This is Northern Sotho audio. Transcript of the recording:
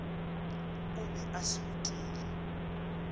o be a se utile